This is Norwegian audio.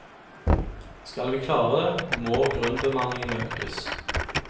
Skal vi klare det, må grunnbemanningen økes.